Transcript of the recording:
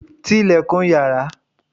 Ti ilẹ̀kùn yàrá!